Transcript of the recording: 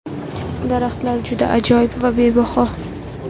Daraxtlar juda ajoyib va bebaho.